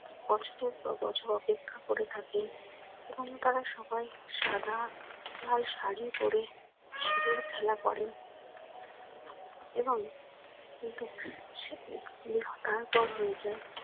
কষ্টের কবছর অপেক্ষা করে থাকে এবং তারা সবাই সাদা, লাল শাড়ি পরে সিঁদুর খেলা করে। এবং কিন্তু হয়ে যায়।